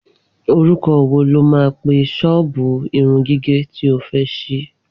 Orúkọ wo lo máa pe ṣọ́ọ̀bù irun gígẹ̀ tí o fẹ́ ṣí